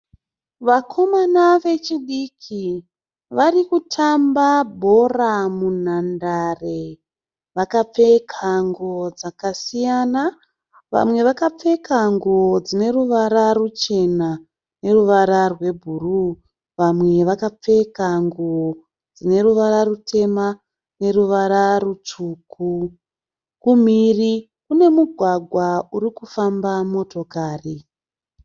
Vakomana vechidiki vari kutamba bhora munhandare. Vakapfeka nguwo dzakasiyana. Vamwe vakapfeka nguwo dzine ruvara ruchena noruvara rwebhuruu. Vamwe vakapfeka nguwo dzine ruvara rutema noruvara rutsvuku. Kumhiri kunomugwagwa uri kufamba motokari.